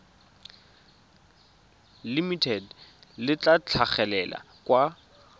limited le tla tlhagelela kwa